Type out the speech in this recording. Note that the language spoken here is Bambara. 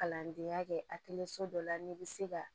Kalandenya kɛ a kelen so dɔ la n'i bɛ se ka